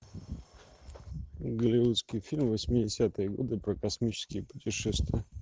голливудский фильм восьмидесятые годы про космические путешествия